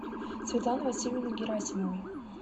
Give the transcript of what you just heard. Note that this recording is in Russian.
светланы васильевны герасимовой